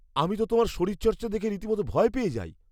আমি তো তোমার শরীরচর্চা দেখে রীতিমতো ভয় পেয়ে যাই।